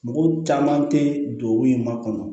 Mɔgɔw caman tɛ don u ye makɔnɔ